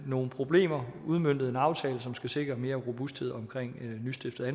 nogle problemer og udmøntet en aftale som skal sikre mere robusthed omkring nystiftede